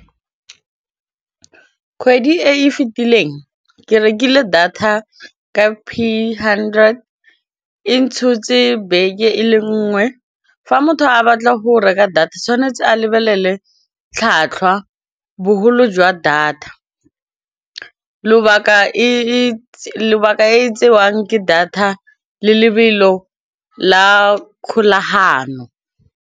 Kgwedi e e fetileng ke rekile data ka p hundred e ntshotse beke e le nngwe, fa motho a batla go reka data tshwanetse a lebelele tlhwatlhwa, bogolo jwa data, lobaka e tsewang ke data le lebelo la kgolagano.